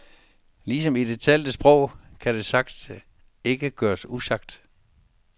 Ligesom i det talte sprog kan det sagte ikke gøres usagt.